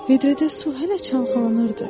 Vedrədə su hələ çalxalanırdı.